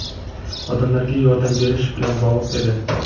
"odamlarga yordam berish" bilan bog‘liq edi.